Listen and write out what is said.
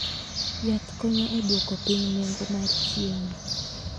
Yath konyo e duoko piny nengo mar chiemo.